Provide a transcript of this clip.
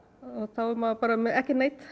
þá er maður bara með ekki neitt